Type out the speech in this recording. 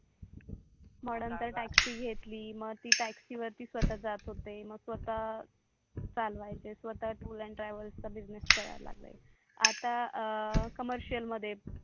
मग नंतर तर TAXSI घेतली मग ती टॅक्सी वरती स्वता जात होते मग स्वता चलवाचे स्वता ट्रू अँड ट्रॅव्हल्स बिजनेस करायला लागले आता कमर्शियल मध्ये